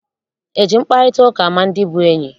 Eji mkparịtaụka ama ndị bụ enyi?